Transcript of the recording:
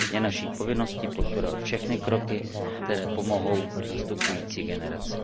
Je naší povinností podporovat všechny kroky, které pomohou nastupující generaci.